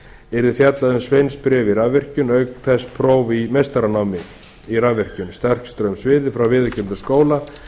yrði fjallað um sveinsbréf í rafvirkjun og auk þess próf í meistaranámi í rafvirkjun frá viðurkenndum skóla